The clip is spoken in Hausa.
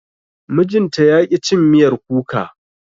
mijinta yaƙi cin miyar kuka